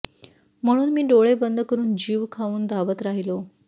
म्हणून मी डोळे बंद करून जीव खाऊन धावत राहिलो